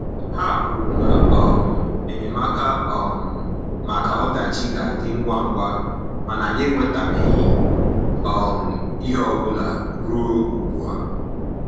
Ha kwuru na um enyemaka um maka ọdachi ga-adị ngwa ngwa, mana anyị enwetabeghị um ihe ọ bụla ruo ugbu a.